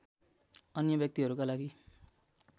अन्य व्यक्तिहरूका लागि